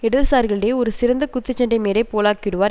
இடதுசாரிகளிடையே ஒரு சிறந்த குத்து சண்டை மேடை போலாக்கிவிடுவார்